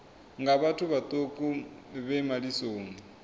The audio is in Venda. nga vhathu vhaṱuku vhe malisoni